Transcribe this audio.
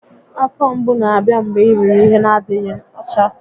Afọ mgbu na-abịa mgbe i riri ihe n'adịghị ọcha